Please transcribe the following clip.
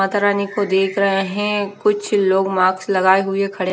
माता रानी को देख रहे हैं कुछ लोग मास्क लगाए हुए खड़े--